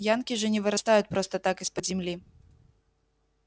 янки же не вырастают просто так из-под земли